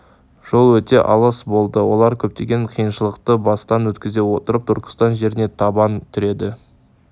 жол өте алыс болды олар көптеген қиыншылықтарды бастан өткізе отырып түркістан жеріне табан тіреді